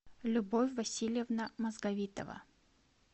любовь васильевна мозговитова